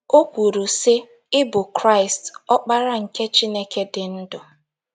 O kwuru, sị: “ Ị bụ Kraịst, Ọkpara nke Chineke dị ndụ. ”